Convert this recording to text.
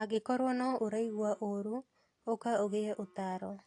Angĩkorwo no ũraigua ũru, ũka ũgĩe ũtaaro.